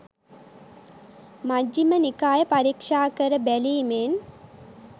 මජ්ඣිම නිකාය පරීක්ෂා කර බැලීමෙන්